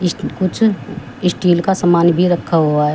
इसमें कुछ स्टील का समान भी रखा हुआ है।